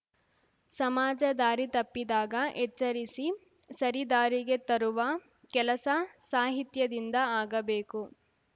ಸಮಾಜ ದಾರಿ ತಪ್ಪಿದಾಗ ಎಚ್ಚರಿಸಿ ಸರಿದಾರಿಗೆ ತರುವ ಕೆಲಸ ಸಾಹಿತ್ಯದಿಂದ ಆಗಬೇಕು